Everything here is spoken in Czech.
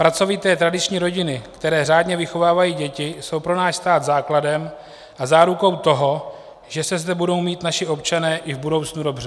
Pracovité tradiční rodiny, které řádně vychovávají děti, jsou pro náš stát základem a zárukou toho, že se zde budou mít naši občané i v budoucnu dobře.